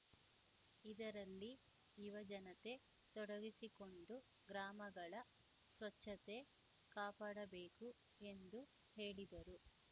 ಇದರಲ್ಲಿ ಯುವಜನತೆ ತೊಡಗಿಸಿಕೊಂಡು ಗ್ರಾಮಗಳ ಸ್ವಚ್ಛತೆ ಕಾಪಾಡಬೇಕು ಎಂದು ಹೇಳಿದರು